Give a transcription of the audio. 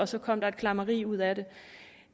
så kom der et klammeri ud af det